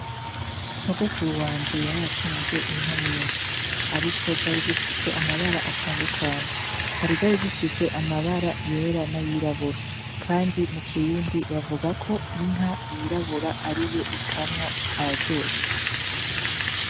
Sogokuru wanje yaratunze inka nyinshi ariko zari zifise amabara atandukanye. Hari izari zifise amabara yera n'ayirabura kandi mu kirundi bavuga ko inka yirabura ariyo ikamwa ayaryoshe.